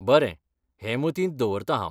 बरें. हें मतींत दवरतां हांव.